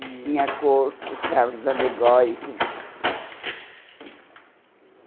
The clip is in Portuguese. E tinha cursos, carros alegóricos.